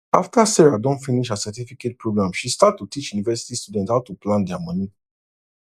after sarah don finish her certificate program she start to teach university students how to plan their money